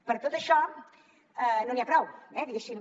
per tot això no n’hi ha prou diguéssim